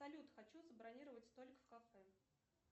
салют хочу забронировать столик в кафе